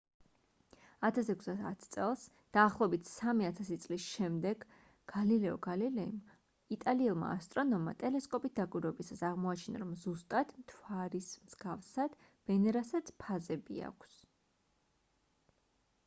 1610 წელს დაახლოებით სამი ათასი წლის შემდეგ გალილეო გალილეიმ იტალიელმა ასტრონომმა ტელესკოპით დაკვირვებისას აღმოაჩინა რომ ზუსტად მთვარის მსგავსად ვენერასაც ფაზები აქვს